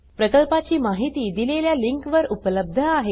प्रकल्पाची माहिती दिलेल्या लिंकवर उपलब्ध आहे